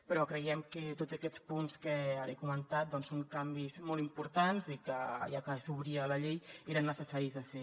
però creiem que tots aquests punts que ara he comentat doncs són canvis molt importants i que ja que s’obria la llei eren necessaris de fer